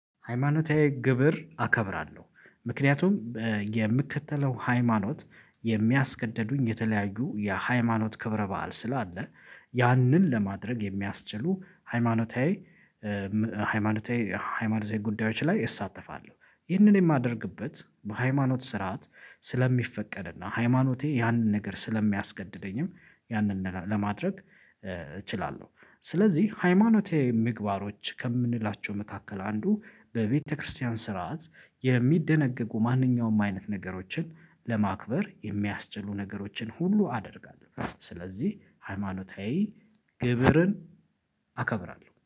ሃይማኖታዊ ግብር አከብራለሁ ምክንያቱም የምከተለው ሃይማኖት የሚያስገድዱኝ የተለያዩ የሃይማኖት ክብረ በዓል ስላለ ያንን ለማድረግ የሚያስችሉ ሃይማኖታዊ ሃይማኖታዊ ሃይማኖታዊ ጉዳዮች ላይ እሳተፋለሁ ይህንን የማደርግበት በሃይማኖት ስርዓት ስለሚፈቀድና ሃይማኖቴ ያንን ነገር ስለሚያስገድደኝም ያንን ለማድረግ እችላለሁ ስለዚህ ሃይማኖታዊ ምግባሮች ከምንላቸው መካከል አንዱ በቤተክርስቲያን ስርዓት የሚደነገጉ ማንኛውም አይነት ነገሮችን ለማክበር የሚያስችሉ ነገሮችን ሁሉ አደርጋለሁ ስለዚህ ሃይማኖታዊ ግብርን አከብራለሁ